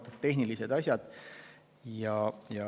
Sellised tehnilised asjad.